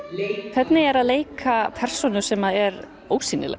hvernig er að leika persónu sem að er ósýnileg